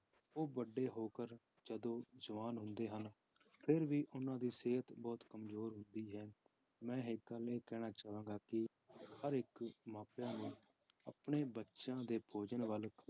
ਉਹ ਵੱਡੇ ਹੋ ਕਰ ਜਦੋਂ ਜਵਾਨ ਹੁੰਦੇ ਹਨ, ਫਿਰ ਵੀ ਉਹਨਾਂ ਦੀ ਸਿਹਤ ਬਹੁਤ ਕੰਮਜ਼ੋਰ ਹੁੰਦੀ ਹੈ ਮੈਂ ਇੱਕ ਇਹ ਕਹਿਣਾ ਚਾਹਾਂਗਾ ਕਿ ਹਰ ਇੱਕ ਮਾਪਿਆਂ ਨੂੰ ਆਪਣੇ ਬੱਚਿਆਂ ਦੇ ਭੋਜਨ ਵੱਲ